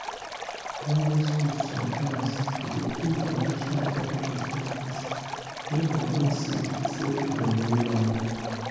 private schools sometimes dey give financial help to students wey dem don see say dem need am.